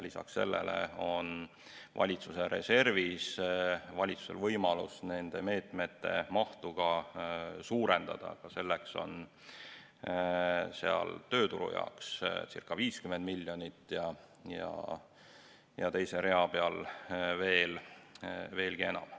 Lisaks sellele on valitsuse reservi kaudu valitsusel võimalus nende meetmete mahtu ka suurendada, selleks on tööturu jaoks circa 50 miljonit ja teise rea peal veelgi enam.